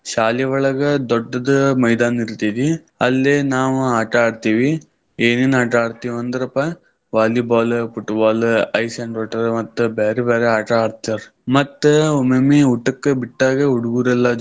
ಶಾಲಿ ಒಳಗ ದೊಡ್ಡದ್ ಮೈದಾನ್ ಇರತೈತಿ. ಅಲ್ಲೇ ನಾವ ಆಟಾ ಆಡ್ತೀವಿ ಏನೇನ್ ಆಟ ಆಡ್ತೀವಿ ಅಂದ್ರಪಾ Volleyball, Football, Ice and Water ಮತ್ತ್ ಬ್ಯಾರೆ ಬ್ಯಾರೆ ಆಟಾ ಆಡ್ತಾರ. ಮತ್ತ್ ಒಮ್ಮೊಮ್ಮೆ ಊಟಕ್ ಬಿಟ್ಟಾಗ ಹುಡುಗುರೆಲ್ಲಾ.